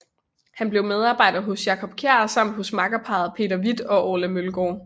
Han blev medarbejder hos Jacob Kjær samt hos makkerparret Peter Hvidt og Orla Mølgaard